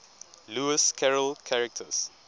lewis carroll characters